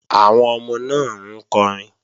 Àwọn ọmọ náà ń kọrin